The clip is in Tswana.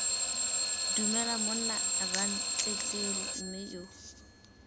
dumela monna rantleru mme yo